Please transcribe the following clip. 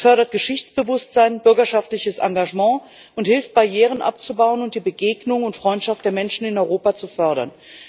Es fördert Geschichtsbewusstsein, bürgerschaftliches Engagement und hilft, Barrieren abzubauen und die Begegnung und Freundschaft der Menschen in Europa zu fördern.